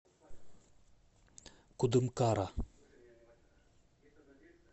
кудымкара